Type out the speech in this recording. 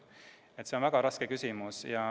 Nii et see on väga raske küsimus.